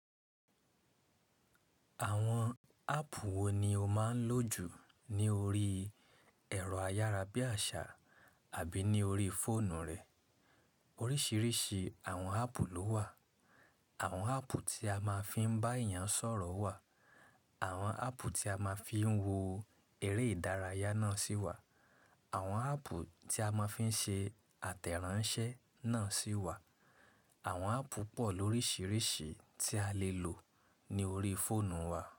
Àwọn áàpù wo ni o máa ń lò jù ní orí ẹ̀rọ ayárabíàṣá àbí ní orí fóònù rẹ̀? Oríṣìíríṣìí àwọn áàpù ló wà. Àwọn áàpù tí a máa fi ń bá èèyàn sọ̀rọ̀ wà, àwọn áàpù tí a máa fi ń wo eré ìdárayá náà si wà, àwọn áàpù tí a máa fi ń ṣe àtẹ̀ránsẹ́ náà si wà. Àwọn áàpù pọ̀ lóríṣìíríṣìí tí a lè lò ní orí fóònù wa.